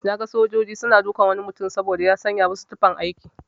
Naga sojaji suna dukan wani mutum saboda ya sanya musu tufan aiki.